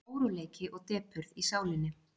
Óróleiki og depurð í sálinni.